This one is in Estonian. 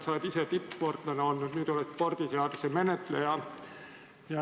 Sa oled ise tippsportlane olnud, nüüd oled spordiseaduse menetleja.